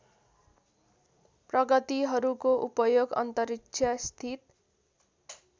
प्रगतिहरूको उपयोग अन्तरिक्षस्थित